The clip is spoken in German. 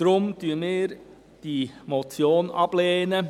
Deshalb lehnen wir die Motion ab.